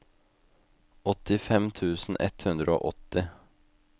åttifem tusen ett hundre og åtti